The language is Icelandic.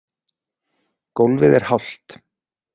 Gólfið er hált.